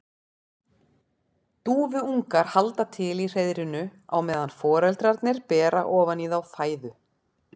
Dúfuungar halda til í hreiðrinu á meðan foreldrarnir bera ofan í þá fæðu.